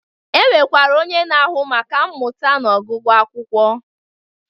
E nwekwara onye na-ahụ maka mmụta na ọgụgụ akwụkwọ.